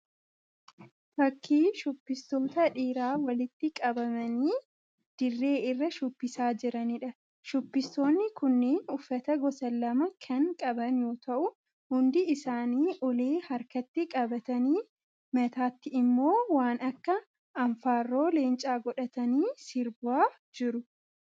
Fakkii shubbistoota dhiiraa walitti qabamanii dirree irraa shubbisaa jiraniidha. Shubbistoonni kunneen uffata gosa lama kan qaban yoo ta'u hundi isaanii ulee harkatti qabatanii mataatti immoo waan akka anfaarroo leencaa godhatanii sirbaa jiru.